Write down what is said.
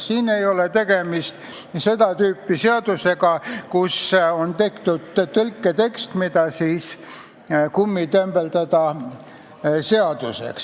Siin ei ole tegemist seda tüüpi seadusega, et on tehtud tõlketekst, mida tahetakse kummitembeldada seaduseks.